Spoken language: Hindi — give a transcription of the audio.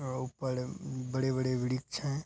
अ और ऊपर बड़े-बड़े वृक्ष हैं।